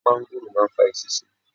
Mángóròò máa ń fa eṣinṣin.